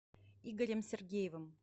игорем сергеевым